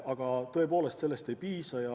Aga tõepoolest, sellest ei piisa.